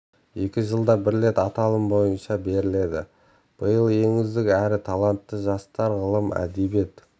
екі жылда бір рет аталым бойынша беріледі биыл ең үздік әрі талантты жастар ғылым әдебиет